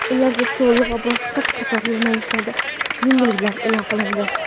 ularga soliq va boshqa qator yo‘nalishlarda yengilliklar e’lon qilindi.